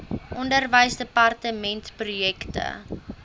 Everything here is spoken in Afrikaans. onderwysdepartementprojekte